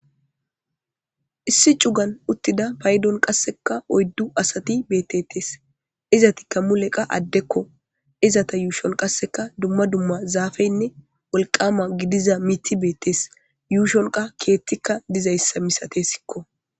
issi cugan uttida payddon qassekka oyddu asati bettetees izatikka mulekka addekko izata yuushon qasseka dumma dumma zafeynne wolqama gidiza miiti bettees yushshonkkaa keettikka dizayssa misatessikko